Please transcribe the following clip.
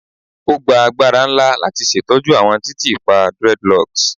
O gba agbara nla lati ṣetọju awọn titiipa dreadlocks